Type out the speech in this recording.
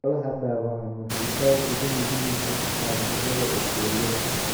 Xoolaha dhaawacan waxay aad ugu nugul yihiin caabuqyada bakteeriyada.